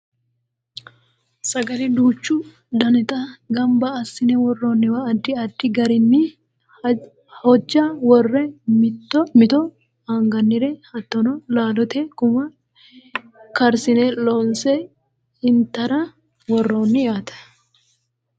sagale duuchu danita ganba assine worrooniwa addi addi garinni hojja worre mito angannire hattono laalote gumma karsine lonse intara worroonni yaate